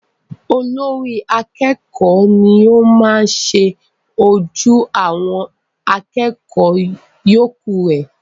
Olórí akẹ́kọ̀ọ́ ni o maá ṣe ojú àwọn akẹ́kọ̀ọ́ yọ̀ọ́kù re